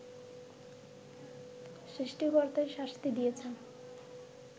সৃষ্টিকর্তাই শাস্তি দিয়েছেন